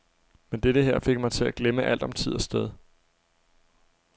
Men dette her fik mig til at glemme alt om tid og sted.